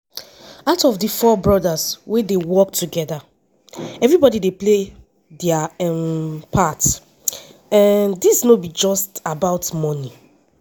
“out of four brothers wey dey work togeda everybody dey play dia um part um dis no be just about money.